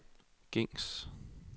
gængs